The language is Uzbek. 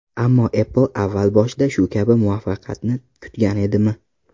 Ammo Apple avval boshida shu kabi muvaffaqiyatni kutgan edimi?